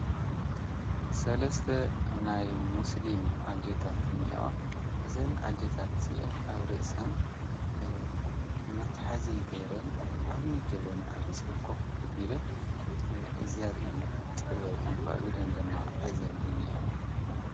ሰለስተ ናይ ሙስሊም ኣዴታት እኔእዋ፡፡ እዘን ኣዴታት እዚአን ኣብ ርእሰን መትሐዚ ገይረን ዓብዪ ጀበና ኣብ ርእሰን ኮፍ ኣቢለን ዘርኢ ጥበብ እዩ፡፡ ኣብ ኢደን ደማ ሒዘን እኔእዋ፡፡